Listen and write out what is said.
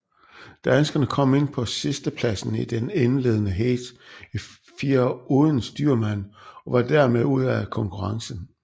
Danskerne kom ind på sidstepladsen i det indledende heat i firer uden styrmand og var dermed ude af konkurrencen